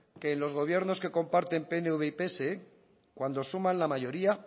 que en los gobiernos que comparten pnv y pse cuando suman la mayoría